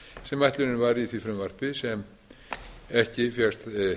sem ætlunin var í því frumvarpi sem ekki fékkst